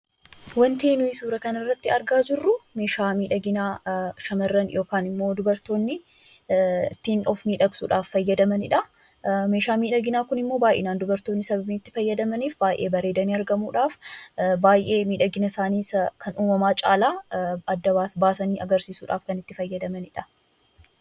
Wanti nuti suuraa kanarratti argaa jirru meeshaa miidhaginaa shamarran yookaan dubartoonni ittiin of miidhagsuudhaaf fayyadamanidha . Meeshaan miidhaginaa kunimmoo baa'inaan dubartoonni sababii itti fayyadamaniif baay'ee bareedanii argamuudhaaf bareedina isaanii isa uumamaa caalaa adda baasanii agarsiisuudhaaf kan itti fayyadamanidha.